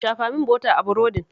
Shafa min bota a burodin